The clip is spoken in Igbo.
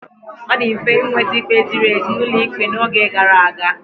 Ọ dị mfe ịnweta ikpe ziri ezi n'ụlọ ikpe n'oge gara aga.